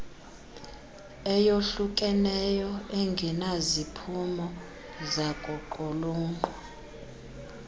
eyohlukeneyo engenaziphumo zakuqulunqwa